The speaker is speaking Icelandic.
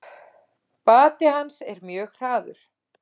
Bati hans er mjög hraður.